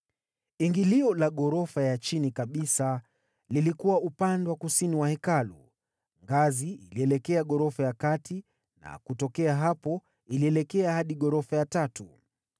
Ingilio la ghorofa ya chini kabisa lilikuwa upande wa kusini wa Hekalu, ngazi ilielekea ghorofa ya kati na kutokea hapo ilielekea hadi ghorofa ya tatu.